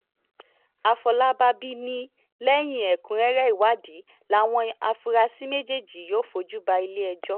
àfọlábàbí ni lẹ́yìn ẹ̀kúnrẹ́rẹ́ ìwádìí làwọn afurasí méjèèjì yóò fojú bá ilé-ẹjọ́